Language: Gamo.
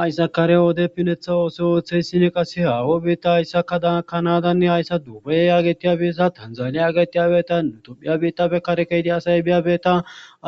Hayssa kare wode pinetha ooso ooththeyssine qasse haawo biitta hayssa ka dan kanadanne hayssa dubaye agetiyabeissa tanzaliya agetiyabeeta itophiya biittapfe karekeydi asay biyabeetta